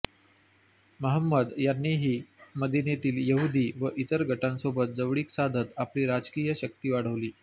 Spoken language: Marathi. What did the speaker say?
महंमद यांनीनी मदिनेतील यहुदी व इतर गटांसोबत जवळीक साधत आपली राजकीय शक्ती वाढवली